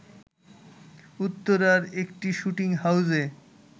উত্তরার একটি শ্যুটিং হাউসে